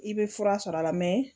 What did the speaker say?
I bɛ fura sɔr'a la